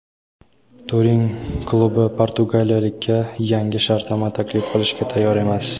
Turin klubi portugaliyalikka yangi shartnoma taklif qilishga tayyor emas.